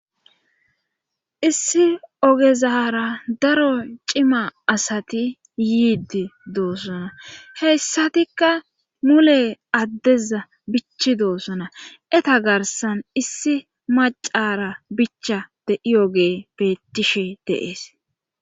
issi ogezara daro cima asati yiidi doosona heyssatikka mule addeza bichi doosona eta garsan issi macara bicha de7iyoge bettishi de'ees